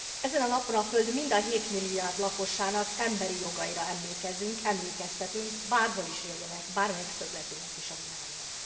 Ezen a napon a Föld mind a hétmilliárd lakosának emberi jogaira emlékezünk, emlékeztetünk, bárhol is éljenek, bármelyik szögletének is a világnak.